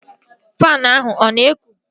Faanụ ahụ ọ na-ekụ?